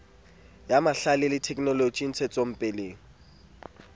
ya mahlale le thekenoloji ntshetsopeleng